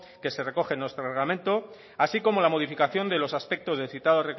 que se recoge en nuestro reglamento así como la modificación de los aspectos del citado